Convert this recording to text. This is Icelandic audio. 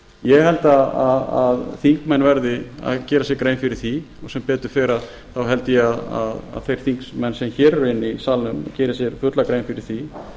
ég held að þingmenn verði að gera sér grein fyrir því og sem betur fer held ég að þeir þingmenn sem hér eru inni í salnum geri sér fulla grein fyrir því